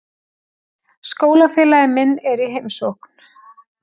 Skólafélagi minn er í heimsókn.